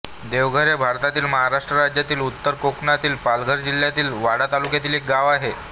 देवघर हे भारतातील महाराष्ट्र राज्यातील उत्तर कोकणातील पालघर जिल्ह्यातील वाडा तालुक्यातील एक गाव आहे